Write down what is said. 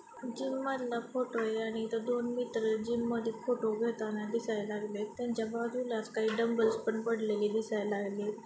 जिममधला photo आहे आणि इथं दोन मित्र जिममध्ये फोटो घेताना दिसाय लागलेत त्यांच्याबाजूलाच काही डंबल्स पण पडलेले दिसाय लागलेत.